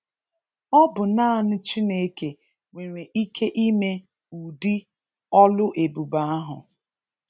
Ọ bụ naanị Chineke nwere ike ime udi ọlụ ebube ahụ.